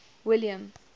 william